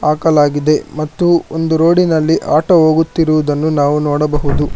ಹಾಕಲಾಗಿದೆ ಮತ್ತು ಒಂದು ರೋಡಿನಲ್ಲಿ ಆಟೋ ಹೋಗುತ್ತಿರುವುದನ್ನು ನಾವು ನೋಡಬಹುದು.